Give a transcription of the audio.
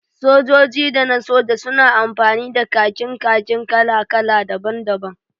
Sojoji da na soja suna amfani da kakin kakin kala-kala daban-daban